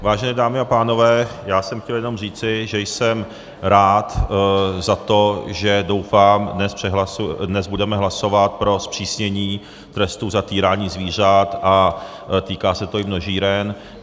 Vážené dámy a pánové, já jsem chtěl jenom říci, že jsem rád za to, že, doufám, dnes budeme hlasovat pro zpřísnění trestu za týrání zvířat, a týká se to i množíren.